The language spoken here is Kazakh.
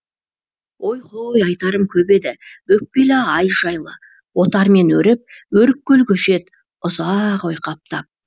ой һой айтарым көп еді өкпелі ай жайлы отармен өріп өрік көл көшеді ұза а ақ ойқаптап